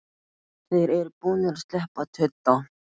Þeir eru búnir að sleppa tudda!